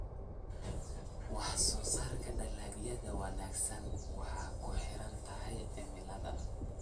Wax soo saarka dalagyada wanaagsan waxay ku xiran tahay cimilada.